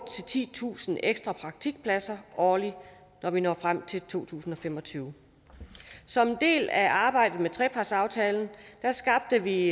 tusind titusind ekstra praktikpladser årligt når vi når frem til to tusind og fem og tyve som en del af arbejdet med trepartsaftalen skabte vi